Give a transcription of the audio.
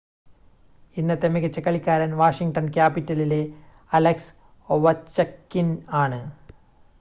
ഇന്നത്തെ മികച്ച കളിക്കാരൻ വാഷിംഗ്‌ടൺ ക്യാപിറ്റലിലെ അലക്സ് ഒവച്കിൻ ആണ്